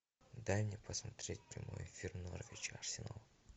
дай мне посмотреть прямой эфир норвич арсенал